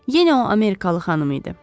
"Yenə o amerikalı xanım idi.